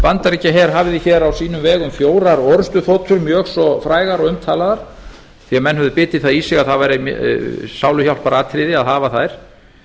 bandaríkjaher hafði á sínum vegum fjórar orrustuþotur mjög svo frægar og umtalaðar því menn höfðu bitið það í sig að það væri sáluhjálparatriði að hafa þær